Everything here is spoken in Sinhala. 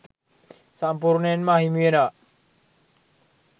සම්පූර්ණයෙන්ම අහිමි වෙනව.